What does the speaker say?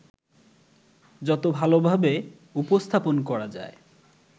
যত ভালোভাবে উপস্থাপন করা যায়